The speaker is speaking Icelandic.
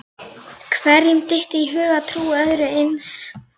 Hverjum dytti í hug að trúa öðru eins?